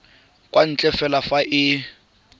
kwa ntle fela fa e